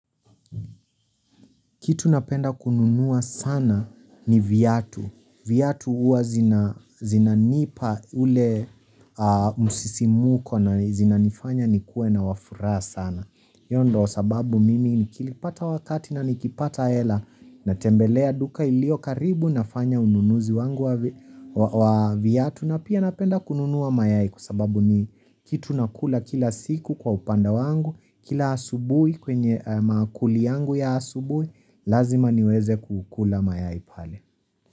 Kitu napenda kununua sana ni viatu. Viatu huwa zinanipa ule msisimuko na zinanifanya ni kuwe na wafuraha sana. Hiyo ndo sababu mimi nikilipata wakati na nikipata hela natembelea duka ilio karibu nafanya ununuzi wangu wa viatu. Na pia napenda kununua mayai kwa sababu ni kitu nakula kila siku kwa upande wangu. Kila asubui kwenye mankuli yangu ya asubui Lazima niweze kukula mayai pale.